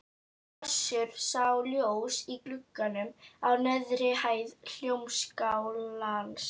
Össur sá ljós í glugganum á neðri hæð Hljómskálans.